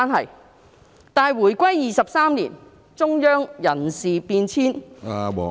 可是，回歸23年，中央人事變遷......